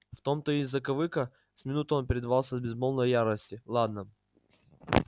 в том-то и закавыка с минуту он предавался безмолвной ярости ладно